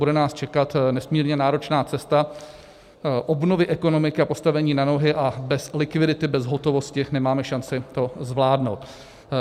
Bude nás čekat nesmírně náročná cesta obnovy ekonomiky a postavení na nohy a bez likvidity, bez hotovosti nemáme šanci to zvládnout.